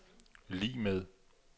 lig med